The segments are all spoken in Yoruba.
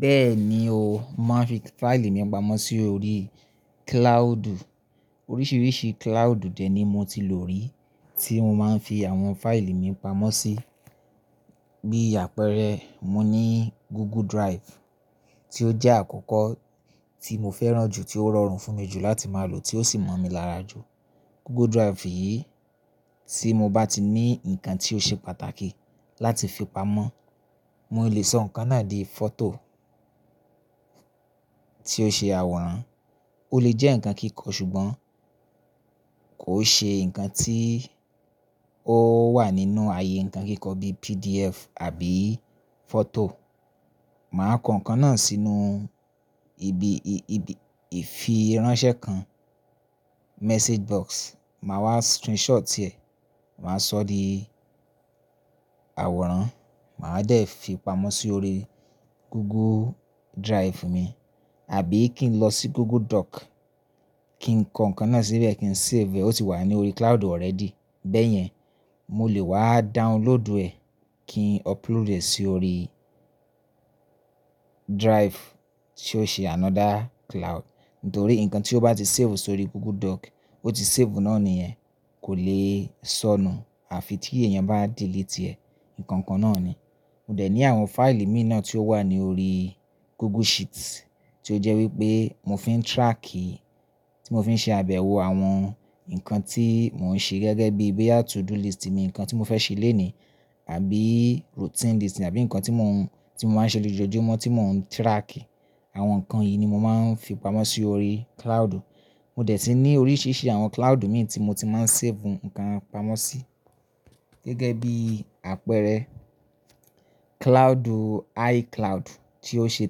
Bẹ́ẹ̀ni o, màá fi fáìlì mi pamọ́ sí orí kíláàùdù. Oríṣiríṣi kíláàùdù dè ni mo ti lò rí tí mo máa ń fi àwọn fáìlì mi pamọ́ sí. Bí àpẹẹrẹ, mo ní Google Drive tí ó jẹ́ àkọ́kọ́ tí mo fẹ́ràn jù, tí ó rọrùn fún mi jù láti máa lò tí ó sì mọ̀ mi lára jù. Google Drive yìí tí mo bá ti ní nǹkan tí ó ṣe pàtàkì láti fi pamọ́, mo lè sọ nǹkan náà di fọ́tò tí ó ṣe àwòrán, ó lè jẹ́ ǹkan kíkọ ṣùgbọ́n kò ṣe ǹkan tí ó wà nínú ààyè ǹkan kíkọ bíi PDF àbí fọ́tò. Màá ko ǹkan náà sínú ibi, ibi, ìfi ránṣẹ́ kan, message box. Màá wá screenshot ẹ̀, màá sọ di àwòrán, màá dẹ̀ fi pamọ́ sí orí Google Drive mi àbí kí n lọ sí Google Doc, kí n kan ǹkan náà síbẹ̀, kí n save, ó ti wà ní orí kíláàùdù already. Bẹ́yẹn, mo lè wá download ẹ̀ kí n upload ẹ̀ sí orí drive tí ó ṣe another kíláàùdù. Nítorí ǹkan tí o bá ti save sórí Google Doc, ó ti save náà ni ẹ́, kò lè sọnù àfi tí èèyàn bá delete ẹ̀, ǹkan kan náà ni. Mo dẹ̀ ní àwọn fáìlì mi náà tí ó wà ní orí Google Sheet tí ó jẹ́ wípé mo fi ń tírákì, tí mo fi ń ṣe àbẹ̀wò àwọn ǹkan tí mò ń ṣe gẹ́gẹ́ bí i day to do list mi, ǹkan tí mo fẹ́ ṣe lónìí àbí routine list àbí ǹkan tí mò ń, tí mò máa ń ṣe lójoojúmọ́ tí mò ń tírákì. Àwọn ǹkan yìí ni mo máa ń fi pamọ́ sí orí kíláàùdù. Mo dẹ̀ ti ní oríṣiríṣi àwọn kíláàùdù mi tí mo ti máa ń save ǹkan pamọ́ sí. Gẹ́gẹ́ bí i àpẹẹrẹ, kíláàùdù iCloud tí ó ṣe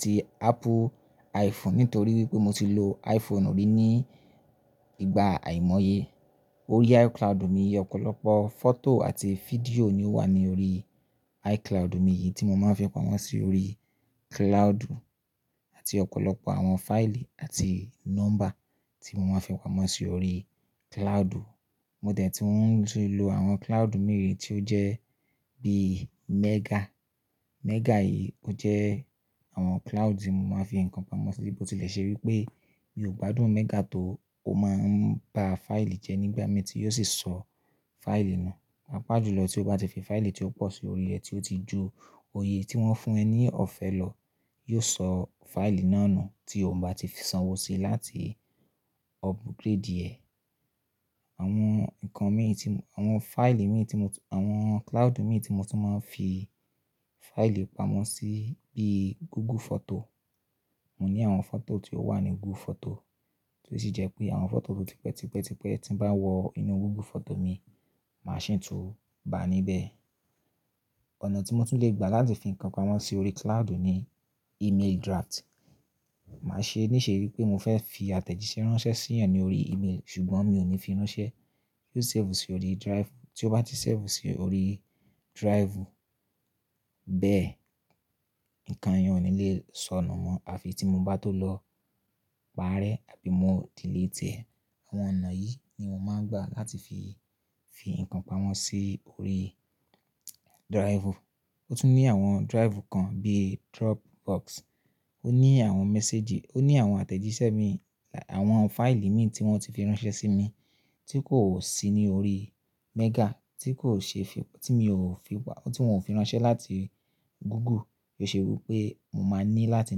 ti Apple iPhone nítorí wípé mo ti lo iPhone rí ní ìgbà àìmọye. Orí iCloud mi, ọ̀pọ̀lọpọ̀ fọ́tò àti fídíò ni ó wà ní orí iCloud mi yìí tí mo máa ń fi pamọ́ sí orí kíláàùdù àti ọ̀pọ̀lọpọ̀ àwọn fáìlì àti nọ́mbà tí mo máa ń fi pamọ́ sí orí kíláàùdù. Mo dẹ̀ tún ti lò àwọn kíláàùdù mìíràn tí ó jẹ́ bíi Mega. Mega yìí ó jẹ́ àwọn kíláàùdù tí mo máa ń fi ǹkan pamọ́ sí bí mo tilẹ̀ ṣe wípé mi ò gbádùn Mega tó ó máa ń gba fáìlì jẹ nígbà mẹ́ta, yóò sì sọ fáìlì nù. Pàápá jùlọ tí o bá ti fi fáìlì tí ó pọ̀ sí orí ẹ tí ó ti ju òye tí wọ́n fún ẹ ní ọ̀fẹ́ lọ, yóò sọ fáìlì náà nù tí o ò bá ti sanwó síi láti upgrade ẹ̀. Àwọn ǹkan mi tí, àwọn fáìlì mi tí mò tún, àwọn kíláàùdù mi tí mò tún máa ń fi fáìlì pamọ́ sí bíi Google Photo. Mo ní àwọn fọ́tò tí ó wà ní Google Photo tí ó sì jẹ́ pé àwọn fọ́tò tó ti pẹ́, ti pẹ́, ti pẹ́ tí ń bá wọ inú Google Photo mi, màá ṣì tún bá a níbẹ̀. Ọ̀nà tí mo tún lè gbà láti fi ǹkan pamọ́ sí orí kíláàùdù ní email draft. Màá ṣe níṣe wípé mo fẹ́ fi àtẹ̀jíṣẹ́ ránṣẹ́ sí èèyàn ní orí email ṣùgbọ́n mi ò ní fi ránṣẹ́, yóò save sí orí drive. Tí ó bá ti save sí orí drive bẹ́ẹ̀, ǹkan yẹn ò ní lè sọnù mọ́ àfi tí mo bá tó lọ pàrẹ́ àbí mo delete ẹ̀. Àwọn ọ̀nà yìí ni mo máa ń gbà láti fi, fi ǹkan pamọ́ sí orí drive. Ó tún ní àwọn drive kan bíi Dropbox, ó ní àwọn mẹ́séjì, ó ní àwọn àtẹ̀jíṣẹ́ mi, àwọn fáìlì mi tí wọ́n ti fi ránṣẹ́ sí mi tí kò sí ní orí Mega, tí kò ṣe fi, tí mi ò fi wá, tí wọ́n ò fi ránṣẹ́ láti Google. Ó ṣe wípé mo máa ń ní láti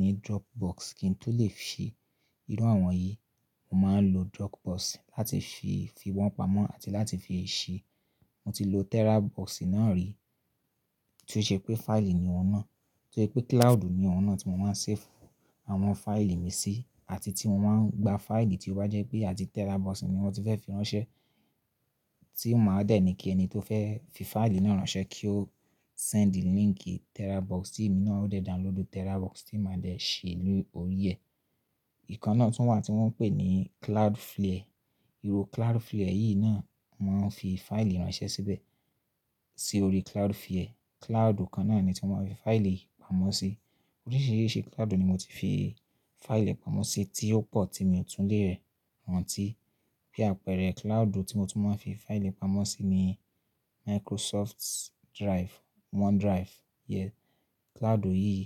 ní Dropbox kí n tó lè ṣe irú àwọn yìí. Mo máa ń lo Dropbox láti fi, fi wọ́n pamọ́ àti láti fi í ṣe. Mo ti lo TeraBox náà rí tí ó ṣe pé fáìlì ni òun náà, tí ó ṣe pé kíláàùdù ni òun náà tí mo máa ń save àwọn fáìlì mi sí àti tí mo máa ń gba fáìlì tí ó bá jẹ́ pé àti TeraBox ni wọ́n ti fẹ́ fi ránṣẹ́ tí mò máa dẹ̀ ní kí ẹni tó fẹ́ fi fáìlì náà ránṣẹ́ kí ó send the link TeraBox tí èmi náà ó dẹ̀ download TeraBox tí màá dẹ̀ ṣe lórí ẹ. Ìkan náà tún wà tí wọ́n ń pè ní Cloudflare. Iro Cloudflare yìí náà, màá ń fi fáìlì ránṣẹ́ síbẹ̀ sí orí Cloudflare. Kíláàùdù kan náà ni tí mo máa ń fi fáìlì pamọ́ sí. Oríṣiríṣi kíláàùdù ni mo ti fi fáìlì pamọ́ sí tí ó pọ̀ tí mi ò tún lè rẹwàntí. Bí i àpẹẹrẹ, kíláàùdù tí mo tún máa ń fi fáìlì pamọ́ sí ni Microsoft Drive, OneDrive rẹ, kíláàùdù yìí.